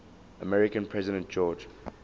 american president george